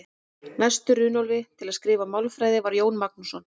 Næstur Runólfi til að skrifa málfræði var Jón Magnússon.